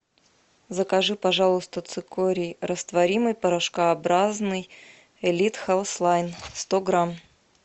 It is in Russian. закажи пожалуйста цикорий растворимый порошкообразный элит хелс лайн сто грамм